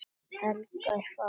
Helga er farin heim.